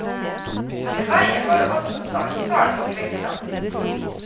Ved vegen var det også sandstrand og kvikksand.